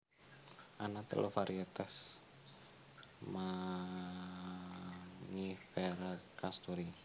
Ana telu variétas Mangiféra casturi